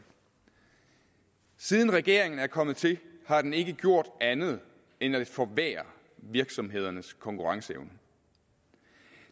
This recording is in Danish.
siden regeringen er kommet til har den ikke gjort andet end at forværre virksomhedernes konkurrenceevne